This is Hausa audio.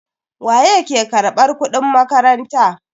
Waye ke karbar kudin makaranta?